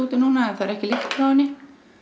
núna og það er ekki lykt frá henni